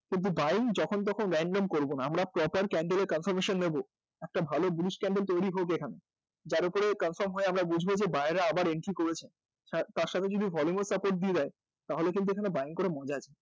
কিন্তু buying যখন তখন random করবনা আমরা proper candle এর confirmation নেব একটা ভালো bluish candle তৈরি হোক এখানে যা উপরে confirm হয়ে আমরা বুঝব যে buyer রা আবার entry করেছে তার সাথে যদি volume ও support দিয়ে দেয় তাহলে কিন্তু এখানে buying করে মজা আছে